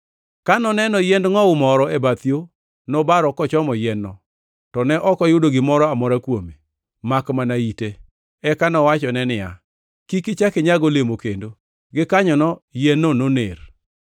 Ka noneno yiend ngʼowu moro e bath yo, nobaro kochomo yien-no, to ne ok oyudo gimoro amora kuome, makmana ite. Eka nowachone niya, “Kik ichak inyag olemo kendo!” Gikanyono yien-no noner.